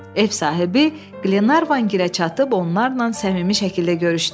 Ev sahibi Qlenarvan gilə çatıb onlarla səmimi şəkildə görüşdü.